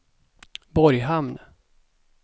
Borghamn